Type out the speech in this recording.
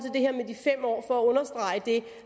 det